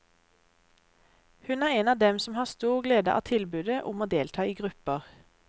Hun er en av dem som har stor glede av tilbudet om å delta i grupper.